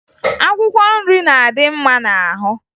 Akwụkwọ nri na-adị mma n'ahụ